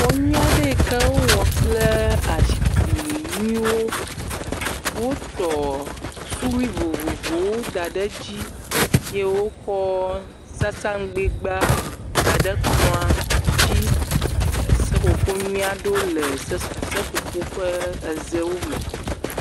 Xɔ nyui aɖe yi ke wowɔ kple azikpui nyuiwo. Wotɔ suɖui vovovowo da ɖe edzi eye wokɔ sasaŋgbɛgba da ɖe kplɔ dzi. E seƒoƒo nyui aɖewo le se seƒoƒo ƒe ezewo me.